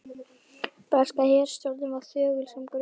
Breska herstjórnin var þögul sem gröfin.